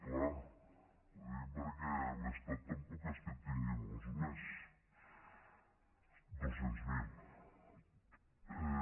clar ho dic perquè l’estat tampoc és que en tingui molts més dos cents miler